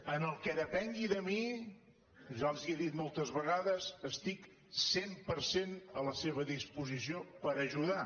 en el que depengui de mi ja els ho he dit moltes vegades estic cent per cent a la seva disposició per ajudar